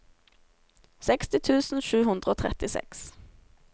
seksti tusen sju hundre og trettiseks